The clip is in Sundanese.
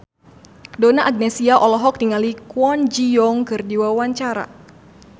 Donna Agnesia olohok ningali Kwon Ji Yong keur diwawancara